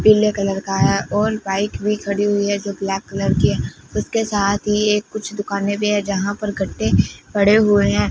पीले कलर का और बाइक में खड़ी हुई है जो ब्लैक कलर की है उसके साथ ही कुछ दुकानें भी है पे जहां पर गड्ढे पड़े हुए हैं।